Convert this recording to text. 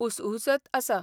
उसउसत आसा.